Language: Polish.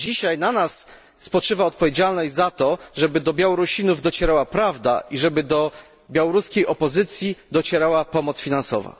Dzisiaj na nas spoczywa odpowiedzialność za to, żeby do Białorusinów docierała prawda i żeby do białoruskiej opozycji docierała pomoc finansowa.